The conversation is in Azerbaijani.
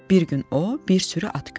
Bir gün o, bir sürü at gördü.